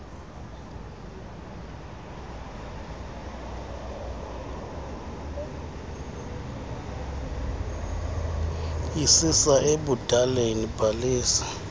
isisa ebudaleni bhalisa